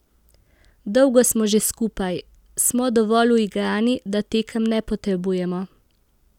Dolgo smo že skupaj, smo dovolj uigrani, da tekem ne potrebujemo.